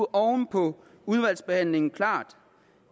oven på udvalgsbehandlingen klart